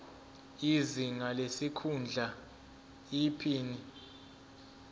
izinga lesikhundla iphini